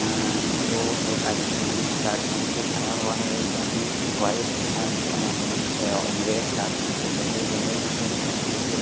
दो एक आदमी नील शर्ट पहन के खड़ा हुआ है एक आदमी व्हाइट शर्ट रेड शर्ट पहन के पैदल जा रहे हैं।